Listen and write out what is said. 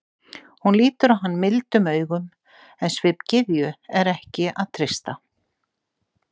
Hún lítur á hann mildum augum, en svip gyðju er ekki að treysta.